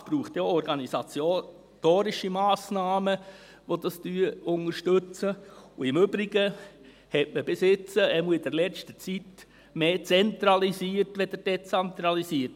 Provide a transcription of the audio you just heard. Es braucht ja auch organisatorische Massnahmen, die dies unterstützen, und im Übrigen hat man in der Kantonsverwaltung bis jetzt, jedenfalls in der letzten Zeit, mehr zentralisiert als dezentralisiert.